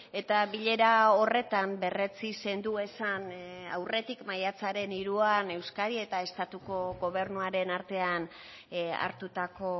eta bilera horretan berretsi zenduezan aurretik maiatzaren hiruan euskadi eta estatuko gobernuaren artean hartutako